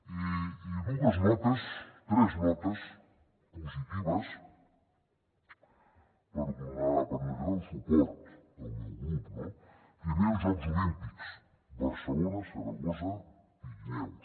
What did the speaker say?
i dues notes tres notes positives per mostrar el suport del meu grup no primer els jocs olímpics barcelona saragossa pirineus